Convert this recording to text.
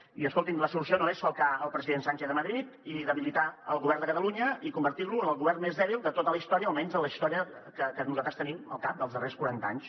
i escolti’m la solució no és falcar el president sánchez a madrid i debilitar el govern de catalunya i convertir lo en el govern més dèbil de tota la història almenys de la història que nosaltres tenim al cap dels darrers quaranta anys